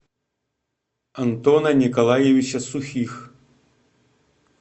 антона николаевича сухих